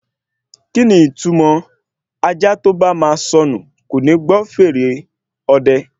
Kíni ìtumọ̀ ajá tó bá ma sọnù kòní gbọ́ fèrè ọdẹ?